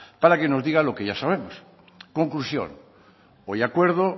para que nos diga lo que ya sabemos conclusión hoy acuerdo